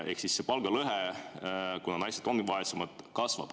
Ehk siis palgalõhe, kuna naised ongi vaesemad, kasvab.